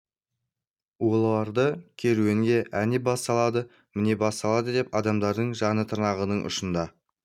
оларды керуенге әне бас салады міне бас салады деп адамдардың жаны тырнағының ұшында